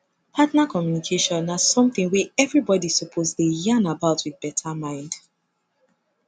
partner communication na something wey everybody suppose dey yan about with beta mind